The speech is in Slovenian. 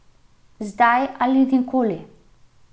Zdaj ali nikoli.